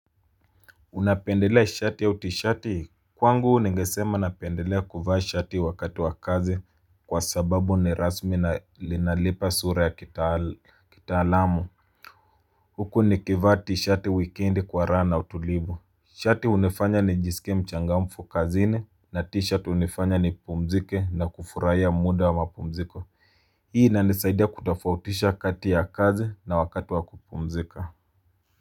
Unapendelea shati ya tishati kwangu ningesema napendelea kuvaa shati wakati wa kazi kwa sababu ni rasmi na linalipa sura ya kitaalamu. Huku ni kivaa tishati weekend kwa raha na utulivu. Shati hunifanya nijisike mchangamfu kazini na tishati hunifanya nipumzike na kufurahia muda wa mapumziko. Hii inanisaidia kutofautisha kati ya kazi na wakati wa kupumzika Muzika.